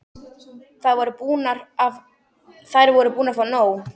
Þær voru búnar að fá nóg.